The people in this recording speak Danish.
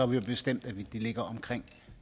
vi jo bestemt at det ligger omkring